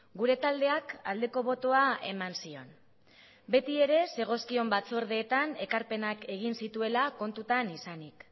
gure taldeak aldeko botoa eman zion beti ere zegozkion batzordeetan ekarpenak egin zituela kontutan izanik